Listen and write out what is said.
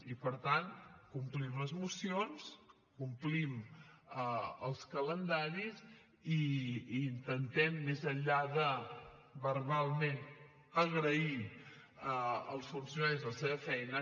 i per tant complim les mocions complim els calendaris i intentem més enllà de verbalment agrair als funcionaris la seva feina